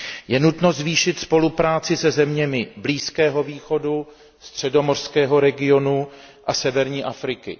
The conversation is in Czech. Je nutno zvýšit spolupráci se zeměmi Blízkého východu, středomořského regionu a severní Afriky.